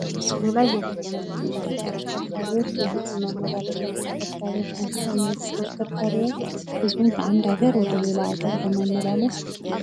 በምስሉ ላይ የምንመለከታቸው ተሽከርካሪዎች የህዝብ ማመላለሻ ተሽከርካሪዎች ናቸው እነዚህ ተሽከርካሪዎች ህዝብን ከአንድ ሀገር ወደ ሌላ ሀገር በማመላለስ